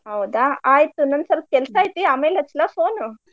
ಹೌದಾ ಆಯ್ತು ನಂಗ್ ಸ್ವಲ್ಪ ಕೆಲ್ಸಾ ಐತಿ ಆಮೇಲ್ ಹಚ್ಚ್ಲಾ phone ಉ?